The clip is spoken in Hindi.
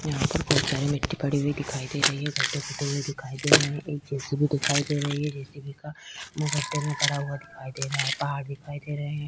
यहाँ पर बहोत सारे मिट्टी पड़ी हुए दिखाई दे रही है। गड्डे खुदे हुए दिखाई दे रहे हैं। एक जे.सी.बी दिखाई दे रही है। जे.सी.बी का मुँह गड्डे में पड़ा हुआ दिखाई दे रहा है। पहाड़ दिखाई दे रहे हैं।